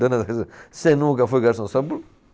Você nunca foi garçom, sabe?